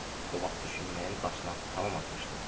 O vaxt düşünməyin daşını tamam atmışdım.